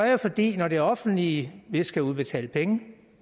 jeg fordi når det offentlige skal udbetale penge